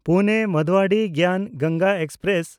ᱯᱩᱱᱮ–ᱢᱟᱱᱫᱩᱣᱟᱰᱤᱦ ᱜᱮᱭᱟᱱ ᱜᱚᱝᱜᱟ ᱮᱠᱥᱯᱨᱮᱥ